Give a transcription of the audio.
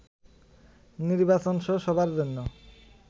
নির্বাচনসহ সবার জন্য